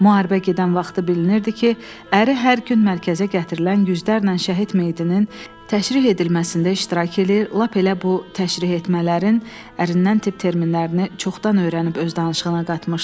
Müharibə gedən vaxtı bilinirdi ki, əri hər gün mərkəzə gətirilən yüzlərlə şəhid meyitinin təşrih edilməsində iştirak eləyir, lap elə bu təşrih etmələrin ərindən tibb terminlərini çoxdan öyrənib öz danışığına qatmışdı.